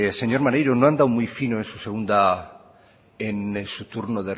señor maneiro no ha andado muy fino en su segunda en su turno